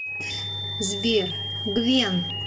сбер гвен